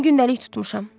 Mən gündəlik tutmuşam.